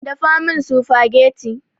Dafa min sufagetti